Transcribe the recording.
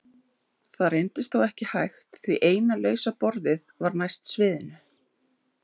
Það reyndist þó ekki hægt því eina lausa borðið var næst sviðinu.